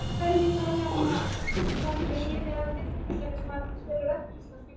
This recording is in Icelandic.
Hann staulaðist um til þess að liðka sig.